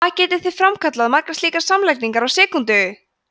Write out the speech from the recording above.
hvað getið þið framkvæmt margar slíkar samlagningar á sekúndu!